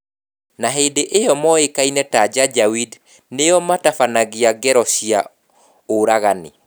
Na hindi iyo moĩkaine ta 'Janjaweed' nĩo matabanagia ngero cia ũragani.